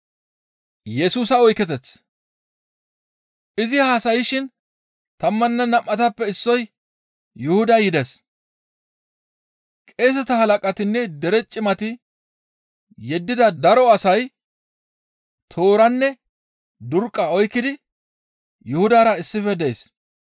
Izi haasayshin tammanne nam7atappe issoy Yuhuday yides. Qeeseta halaqatinne dere cimati yeddida daro asay tooranne durqqa oykkidi Yuhudara issife dees.